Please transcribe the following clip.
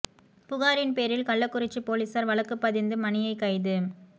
புகாரின் பேரில் கள்ளக்குறிச்சி போலீசார் வழக்கு பதிந்து மணியை கைது